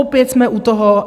Opět jsme u toho.